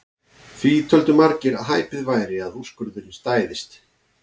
Því töldu margir að hæpið væri að úrskurðurinn stæðist.